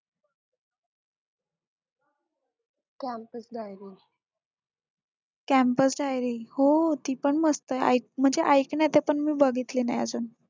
campus diarie हो ती पण मस्त आहे म्हणजे ऐकण्यात पण मी बघितली नाही अजून